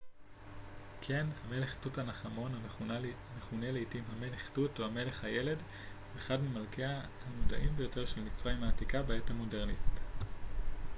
כן המלך תות ענח' אמון המכונה לעתים המלך תות או המלך הילד הוא אחד ממלכיה הנודעים ביותר של מצרים העתיקה בעת המודרנית